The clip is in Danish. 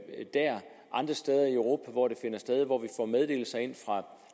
andre steder i europa hvor det finder sted og hvor vi får meddelelser ind fra